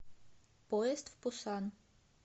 поезд в пусан